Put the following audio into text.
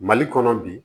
Mali kɔnɔ bi